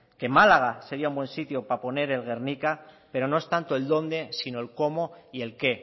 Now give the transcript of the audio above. que málaga sería un buen sitio para poner el guernica pero no es tanto el dónde sino el cómo y el qué